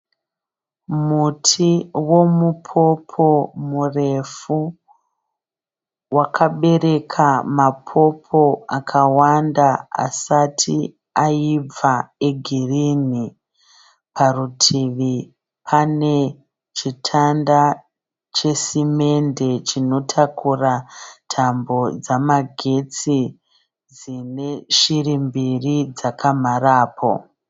Muti womupopo murefu wakabereka mapopo akawanda asati aibva egirinhi. Parutivi pane chitanda chesimende chinotakura tambo dzamagetsi dzine shiri mbiri dzakamharapo.